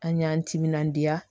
An y'an timinandiya